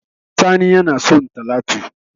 Sani yana so talatu